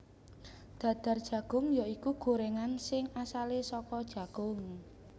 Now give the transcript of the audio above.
Dadar Jagung ya iku gorengan sing asale saka jagung